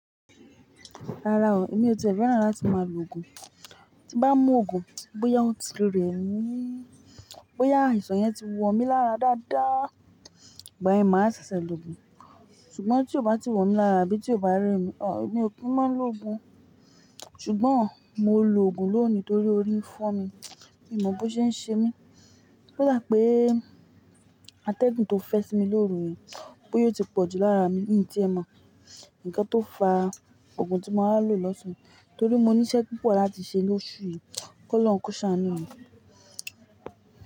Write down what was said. Rárá o, èmi ò tìẹ fẹ́ràn láti máa lo oògùn. Tí n bá mú oògùn bóyá o ti rẹ́ mi, bóyá àìsàn yẹn ti wọ mí lára dáadáa, igba yẹn màá ṣẹ̀ṣẹ̀ lo oògùn. Ṣùgbọ́n tí ó bá ti wọ mí lára àbí tí ó bá rẹ́ mi, mi ò kí n máa ń lo oògùn. Ṣùgbọ́n mo lo oògùn lónìí torí orí ń fọ́ mi. Mi ò mọ̀ bó ṣe ń ṣe mí. Ó dà pé àtẹ̀gùn tó fẹ́ sí mi lóru yẹn, bóyá ó ti pọ̀jù lára mi ìn tí ẹ mọ̀. Ǹkan tó fa oògùn tí mo máa lò lọ̀sán torí mo ní iṣẹ́ púpọ̀ láti ṣe lóṣù yìí. KOlóhun kó ṣàánú mi.